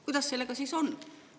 Kuidas sellega siis on?